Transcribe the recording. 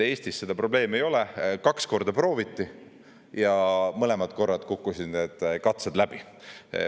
Eestis seda probleemi ei ole: kaks korda prooviti ja mõlemad korrad kukkusid need katsed läbi.